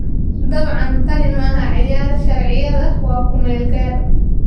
Dabcan, tani maaha ciyaar, 'sharciyada'na waa ku meel gaar.